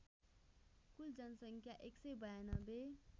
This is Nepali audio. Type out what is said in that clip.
कुल जनसङ्ख्या १९२